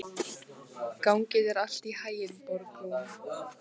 Gangi þér allt í haginn, Borgrún.